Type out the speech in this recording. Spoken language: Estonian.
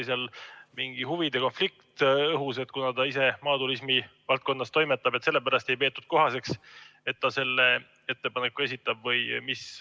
Kas oli mingi huvide konflikt õhus, et kuna ta ise maaturismi valdkonnas toimetab, siis sellepärast ei peetud kohaseks, et ta selle ettepaneku esitab?